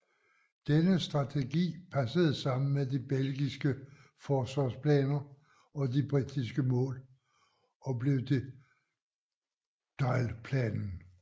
Denne strategi passede sammen med de belgiske forsvarsplaner og de britiske mål og blev til Dyle Planen